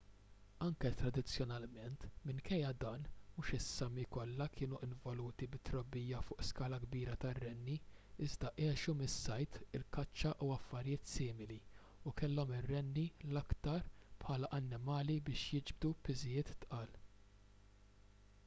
anke tradizzjonalment minkejja dan mhux is-sámi kollha kienu involuti fit-trobbija fuq skala kbira tar-renni iżda għexu mis-sajd il-kaċċa u affarijiet simili u kellhom ir-renni l-aktar bħala annimali biex jiġbdu piżijiet tqal